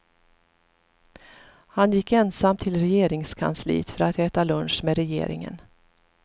Han gick ensam till regeringskansliet för att äta lunch med regeringen.